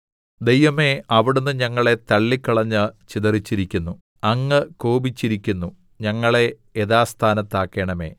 ദൈവമേ അവിടുന്ന് ഞങ്ങളെ തള്ളിക്കളഞ്ഞ് ചിതറിച്ചിരിക്കുന്നു അങ്ങ് കോപിച്ചിരിക്കുന്നു ഞങ്ങളെ യഥാസ്ഥാനത്താക്കണമേ